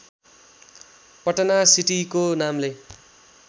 पटना सिटीको नामले